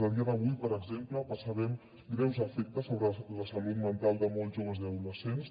a dia d’avui per exemple percebem greus efectes sobre la salut mental de molts joves i adolescents